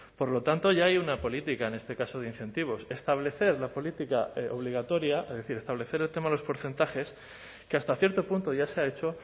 por lo tanto ya hay una política en este caso de incentivos establecer la política obligatoria es decir establecer el tema de los porcentajes que hasta cierto punto ya se ha hecho